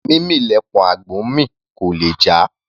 Mímì lẹpọ̀n àgbò ńmì; kò lè jà.